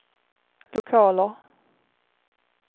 lokaler